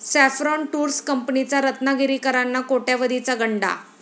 saffron tours कंपनीचा रत्नागिरीकरांना कोट्यावधीचा गंडा